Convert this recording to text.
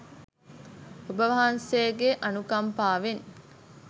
ඔබවහන්සේගේ අනුකම්පාවෙන්